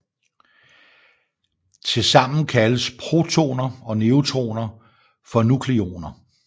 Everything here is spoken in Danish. Tilsammen kaldes protoner og neutroner for nukleoner